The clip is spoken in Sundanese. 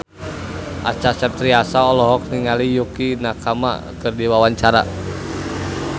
Acha Septriasa olohok ningali Yukie Nakama keur diwawancara